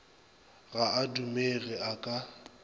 ga a dumege a ka